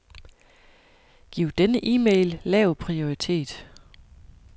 Giv denne e-mail lav prioritet.